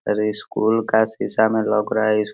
अरे स्कूल का शीशा में लउक रहा --